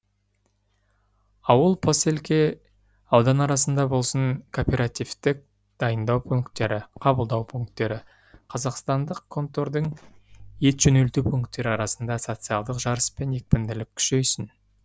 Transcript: ауыл поселке аудан арасында болсын кооперативтік дайындау пункттері қабылдау пункттері қазақстандық контордың ет жөнелту пункттері арасында социалдық жарыс пен екпінділік күшейсін